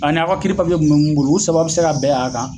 A n'aw ka kiiri papiye kun be mun bolo u saba be se ka bɛn'a kan